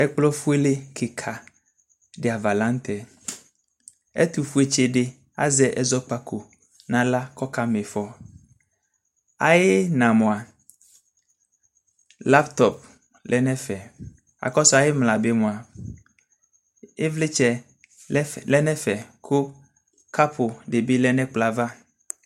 Ɛkplɔ ƒʊele kika dɩ ava laɲʊtɛ Ɛtʊƒʊe tsɩdi azɛ ɛdzaɲazɔko ɲaɣla kʊ ɔkama iƒɔ Ayiɲa labtɔp lɛ ɲɛvɛ, akɔsʊ ayimlabi mua ɩvlɩtsɛ lɛɲɛvɛ ku kapʊ dibɩ lɛ ɲɛkplɔava